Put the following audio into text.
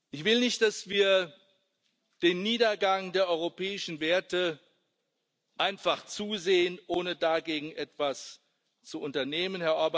Ich will nicht, dass wir dem Niedergang der europäischen Werte einfach zusehen, ohne dagegen etwas zu unternehmen.